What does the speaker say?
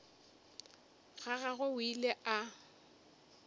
ga gagwe o ile a